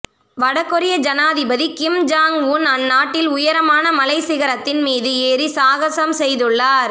வடகொரிய ஜனாதிபதி Kim Jong Un அந்நாட்டின் உயரமான மலைச்சிகரத்தின் மீது ஏறி சாகசம் செய்துள்ளார்